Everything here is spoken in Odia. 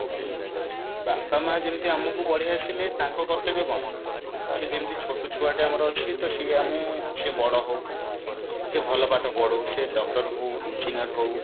ବାପା ମା ଯେମିତ ଆମକୁ ବଢେଇ ଆସିଲେ ତାଙ୍କ କର୍ତବ୍ୟ କଣ ସେ ଯେମତି ଛୋଟ ଛୁଆ ଟା ଆମର ଅଛି ତ ସିଏ ଆମେ ସିଏ ବଡ ହଉ ସିଏ ଭଲ ପାଠ ପଢୁ ସେ doctor ହଉ engineer ହଉ